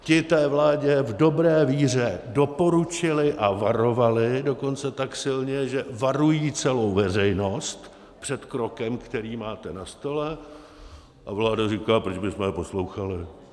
Ti té vládě v dobré víře doporučili a varovali, dokonce tak silně, že varují celou veřejnost před krokem, který máte na stole - a vláda říká: Proč bychom je poslouchali?